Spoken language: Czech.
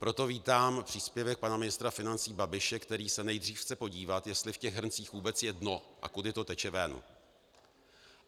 Proto vítám příspěvek pana ministra financí Babiše, který se nejdřív chce podívat, jestli v těch hrncích vůbec je dno a kudy to teče ven.